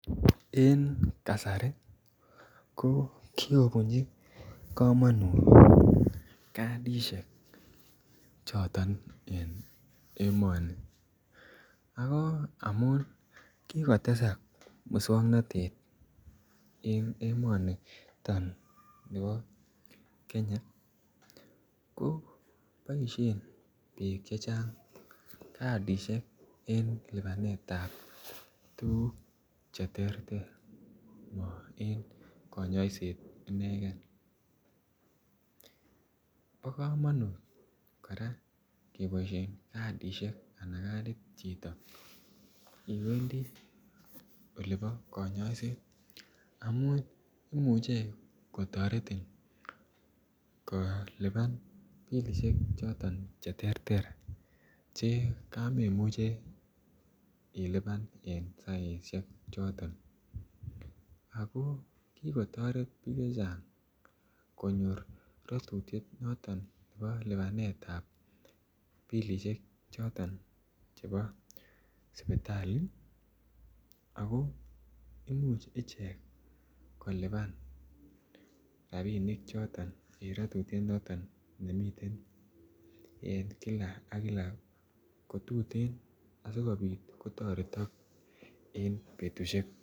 En kasari ko ki kobunji komonut kadisiek choton en emoni ako amun ki kotesak moswoknatet en emonito nibo Kenya ko baishen bik chechang kadisiek en lipanetap ab tuguk Che terter mo en kanyoiset inegen bo komonut kora keboisien kadisiek Anan kadit chito iwendi olebo kanyoiset amun imuche kotoretin kolipan pilisiek choton Che terter Che kamemuche ilipan en saisiek choton ako ki kotoret bik chechang konyor ratutiet noton nebo lipanetap bilisiek choton sipitali ako Imuch ichek kolipan rabinik choton Che miten en ratutiet en kila ak kila ko tuten asikobit kotoretok en betusiek tugul